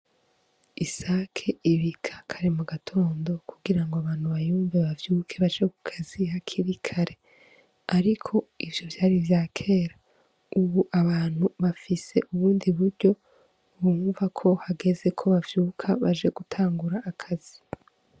Isake ibika kare mu gatondo kugira ngo abantu bavyuke baje ku kazi hakiri kare . Ariko ivyo vyari ivyakera , ubu abantu bafise ubundi buryo bumva ko hageze ko bavyuka baje gutangura akazi.